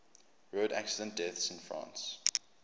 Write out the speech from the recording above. road accident deaths in france